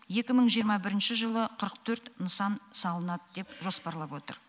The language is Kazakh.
екі мың жиырма бірінші жылы қырық төрт нысан салынады деп жоспарлап отыр